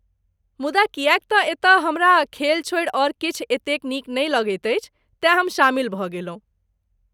मुदा किएक तँ एतय हमरा खेल छोड़ि आओर किछु एतेक नीक नहि लगैत अछि, तेँ हम शामिल भऽ गेलहुँ।